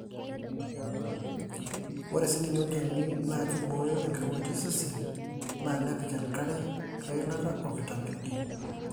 ore sininye olchoni na kiboyo enkirowuaj osesen na nepik enkare, eilata o-vitamin D.